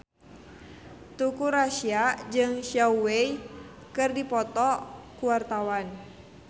Teuku Rassya jeung Zhao Wei keur dipoto ku wartawan